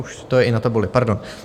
Už je to i na tabuli, pardon.